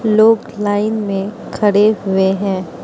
लोग लाइन में खड़े हुए हैं।